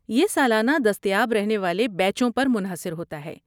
یہ سالانہ دستیاب رہنے والے بیچوں پر منحصر ہوتا ہے۔